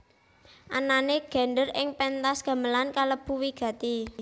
Anané gendèr ing péntas gamelan kalebu wigati